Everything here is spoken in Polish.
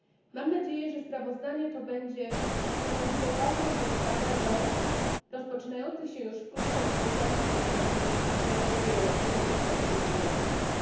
Mam nadzieję, że sprawozdanie to będzie stanowiło ważną podstawę do rozpoczynających się już wkrótce negocjacji dotyczących nowego wieloletniego budżetu Unii Europejskiej.